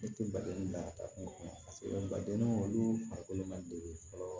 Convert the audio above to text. Ne tɛ baden da kun kɔnɔ paseke badennin kɔni olu farikolo ma deli fɔlɔ